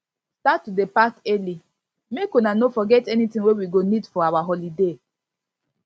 start to dey pack early make una no forget anything wey we go need for our holiday